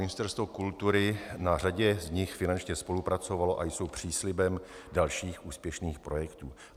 Ministerstvo kultury na řadě z nich finančně spolupracovalo a jsou příslibem dalších úspěšných projektů.